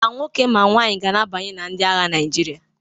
Ma nwoke ma nwaanyị ga na-abanye na ndi agha Naịjirịa.